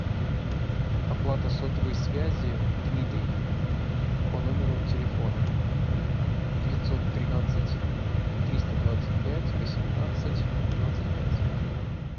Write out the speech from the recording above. оплата сотовой связи дмитрий по номеру телефона девятьсот тринадцать триста двадцать пять восемнадцать двадцать пять